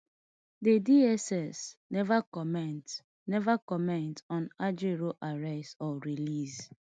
di dss neva comment neva comment on ajaero arrest or release